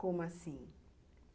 Como assim?